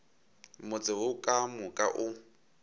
motse wo ka moka o